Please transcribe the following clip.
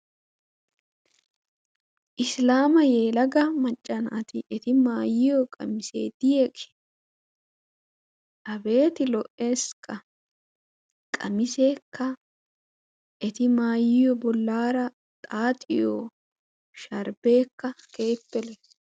Isilaama yelaga maccaa naati eti maayiyo maayoy qamisse diyaage abeeti lo''ees! qamissekka eti maayiyo bollara xaaxxiyo sharbbekka keehippe lo''e.